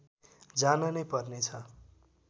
जान नै पर्नेछ